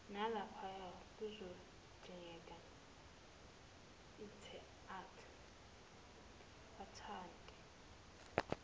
nalaphaya kuzodingeka athinte